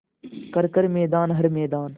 कर हर मैदान हर मैदान